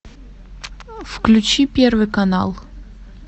включи первый канал